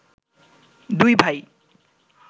দুই ভাই